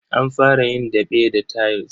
An fara yin daɓe da tayils.